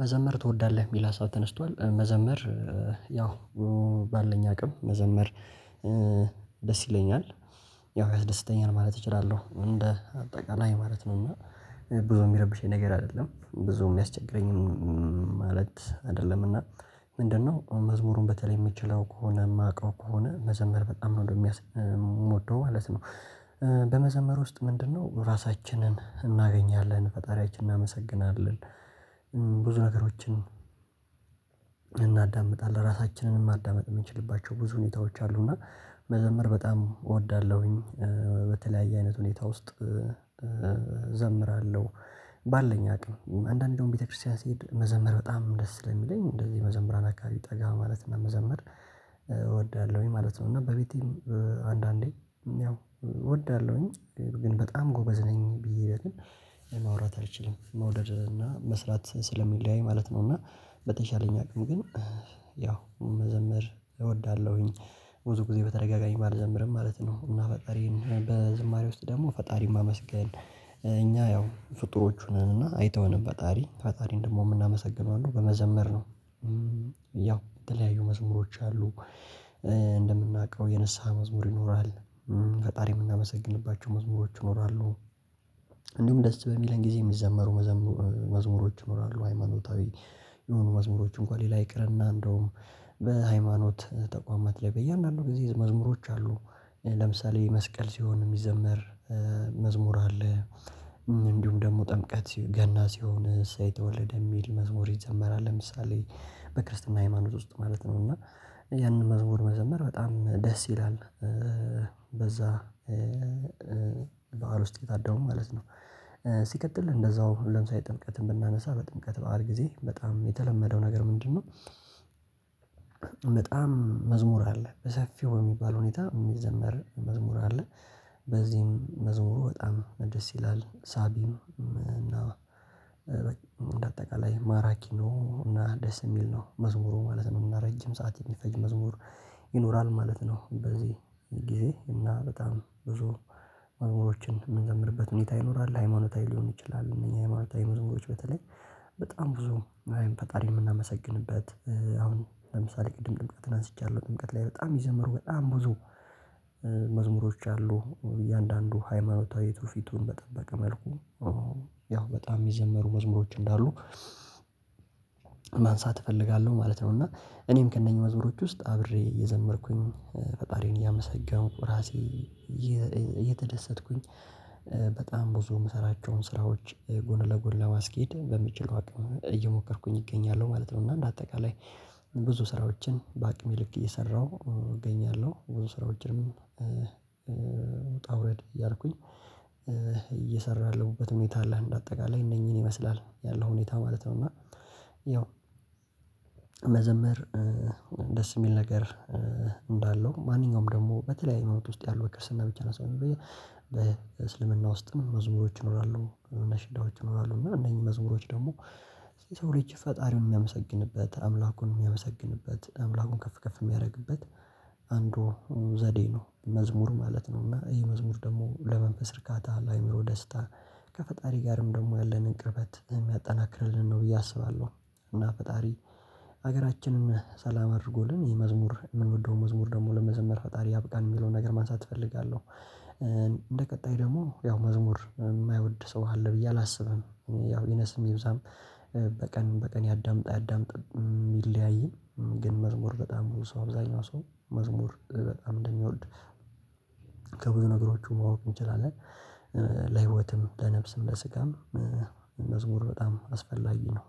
መዘመር ትወዳለህ? የሚል ሀሳብ ተነስቷል መዘመር ያው ባለኝ አቅም መዘመር ደስ ይለኛል ያው ያስደስተኛል ማለት እችላለሁ እንደ አጠቃላይ ማለት ነው። እና ብዙ የሚረብሸኝ ነገር አይደለም ብዙ የሚያስቸግረኝም ማለት አይደለም። እና ምንድነው መዝሙሩን በተለይ የምችለው ከሆነ የማውቀው ከሆነ መዘመር በጣም ነው የሚያስ ምወደው ማለት ነው። በመዘመር ውስጥ ምንድነው ራሳችንን እናገኛለን ፈጣሪያችን እናመሰግናለን ብዙ ነገሮችን እናዳምጣለን ራሳችንንም ማዳመጥ የምንችልባቸው ብዙ ሁኔታዎች አሉና መዘምር በጣም እወዳለሁኝ። በተለያየ አይነት ሁኔታ ውስጥ እዘምራለሁ። ባለን አቅም አንዳንዴ ደሞ ቤተክርስቲያን ሲሄድ መዘምር በጣም ደስ ላይ የሚለኝ እንደዚህ መዘምራን አካባቢ ጠጋ ማለት ነው መዘምር እወዳለሁኝ ማለት ነው። እና በቤቴም አንዳንዴ ያው እወዳለሁኝ ግን በጣም ጎበዝ ነኝ ብዬ ግን ማውራት አልችልም መውደድ እና መስራት ስለሚለያይ ማለት ነው። እና በተሻለኝ አቅም ግን ያው መዘምር እወዳለሁኝ ብዙ ጊዜ በተደጋጋሚ ባልዘምርም ማለት ነው። እና ፈጣሪን በዝማሬ ውስጥ ደግሞ ፈጣሪን ማመስገን እኛ ያው ፍጡሮቹ ነን እና አይተውንም ፈጣሪ ፈጣሪን ደግሞ የምናመሰግነው አሉ በመዘመር ነው። ያው የተለያዩ መዝሙሮች አሉ እንደምናውቀው የንስሃ መዝሙር ይኖራል። ፈጣሪ የምናመሰግንባቸው መዝሙሮች ይኖራሉ። እንዲሁም ደስ በሚለን ጊዜ የሚዘመሩ መዝሙሮች ይኖራሉ ሃይማኖታዊ የሆኑ መዝሙሮች እንኳን ሌላ ይቅርና እንደውም በሃይማኖት ተቋማት ላይ በእያንዳንዱ ጊዜ መዝሙሮች አሉ ለምሳሌ መስቀል ሲሆን የሚዘምር መዝሙር አለ። እንዲሁም ደግሞ ጥምቀት ገና ሲሆን እሰይ ተወለደ የሚል መዝሙር ይዘመራል ለምሳሌ በክርስትና ሃይማኖት ውስጥ ማለት ነው እና ያንን መዝሙር መዘመር በጣም ደስ ይላል። በዛ በዓል ውስጥ ታድመው ማለት ነው። ሲቀጥል እንደዛው ለምሳሌ ጥምቀትን ብናነሳ በጥምቀት በዓል ጊዜ በጣም የተለመደው ነገር ምንድነው? በጣም መዝሙር አለ በሰፊው የሚባል ሁኔታ የሚዘመር መዝሙር አለ። በዚህም መዝሙሩ በጣም ደስ ይላል ሳቢው እና በጣም እንደ አጠቃላይ ማራኪ ነው እና ደስ የሚል ነው መዝሙሩ ማለት ነው ረጅም ሰዓት የሚፈጅ መዝሙር ይኖራል ማለት ነው። በዚህ እና በጣም ብዙ መዝሙሮችን የምንዘምርበት ሁኔታ ይኖራል ሃይማኖታዊ ሊሆን ይችላል። እነኚህ የማለት መዝሙሮች በተለይ በጣም ብዙ ፈጣሪ የምናመሰግንበት አሁን ለምሳሌ ቅድም ጥምቀትን አንስቻለሁ ጥምቀት ላይ በጣም ይዘመሩ በጣም ብዙ መዝሙሮች አሉ እያንዳንዱ ሃይማኖታዊ ትውፊቱን በጠበቀ መልኩ ያው በጣም የሚዘመሩ መዝሙሮች እንዳሉ ማንሳት እፈልጋለሁ ማለት ነው። እና እኔም ከእነኚህ መዝሙሮች ውስጥ አብሬ የዘመርኩኝ ፈጣሪዬን እያመሰገንኩ ራሴ እየተደሰትኩኝ በጣም ብዙ የምሰራቸውን ስራዎች ጎን ለጎን ለማስኬድ በምችለው አቅም እየሞከርኩኝ እገኛለሁ ማለት ነው። እና እንደ አጠቃላይ ብዙ ስራዎችን በአቅሜ ልክ እየሰራሁ እገኛለሁ ብዙ ስራዎችንም ውጣ ውረድ እያልኩኝ እየሰራህ ያለውበት ሁኔታ አለህ እንዳጠቃላህ እነኚህን ይመስላል ያለው ሁኔታ ማለት ነው። እና ያው መዘምር ደስ የሚል ነገር እንዳለው ማንኛውም ደግሞ በተለያዩ መውጣት ውስጥ ያለው በክርስትና ብቻ ሳይሆን በዬ በእስልምና ውስጥ መዝሙሮች ይኖራሉ እነ ሽዳዎች ይኖራሉ እነኚህ መዝሙሮች ደግሞ ሰው ልጅ ፈጣሪውን የሚያመሰግንበት አምላኩን የሚያመሰግንበት አምላኩን ከፍ ከፍ የሚያደርግበት አንዱ ዘዴ ነው መዝሙር ማለት ነው። እና ይሄ መዝሙር ደግሞ ለመንፈስ እርካታ አለ አይምሮ ደስታ ከፈጣሪ ጋርም ደግሞ ያለንን ቅርበት የሚያጠናክርልን ነው ብዬ አስባለሁ። እና ፈጣሪ ሀገራችንን ሰላም አድርጎልን ይሄ መዝሙር የምንወደው መዝሙር ደግሞ ለመዘመር ፈጣሪ ያብቃን የሚለውን ነገር ማንሳት እፈልጋለሁ። እንደ ቀጣይ ደግሞ ያው መዝሙር የማይወድ ሰው አለ ብዬ አላስብም ያው ይነስም ይብዛም በቀን በቀን ያዳምጣ ያዳምጣ የሚለያይን ግን መዝሙር በጣም ብዙ ሰው አብዛኛው ሰው መዝሙር በጣም እንደሚወድ ከብዙ ነገሮች ማወቅ እንችላለን። ለህይወትም ለነፍስም ለስጋም መዝሙር በጣም አስፈላጊ ነው።